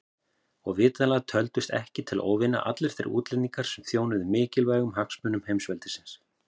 Og vitanlega töldust ekki til óvina allir þeir útlendingar sem þjónuðu mikilvægum hagsmunum heimsveldisins.